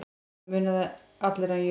Það muna allir hann Jörund.